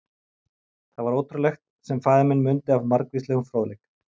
Það var ótrúlegt, sem faðir minn mundi af margvíslegum fróðleik.